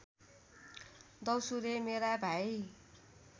द्यौसुरे मेरा भाइ